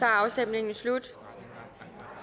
afstemningen er slut